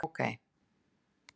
Já, ok